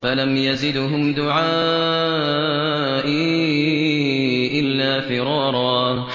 فَلَمْ يَزِدْهُمْ دُعَائِي إِلَّا فِرَارًا